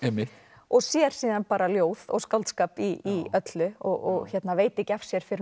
og sér síðan bara ljóð og skáldskap í öllu og veit ekki af sér fyrr en